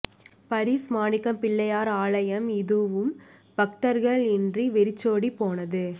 பரிஸ் மாணிக்கப் பிள்ளையார் ஆலயம் இதுவும் பக்தா்கள் இன்றி வெறிச்சோடிப் போனது